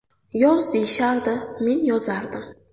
Yoz deyishardi men yozardim.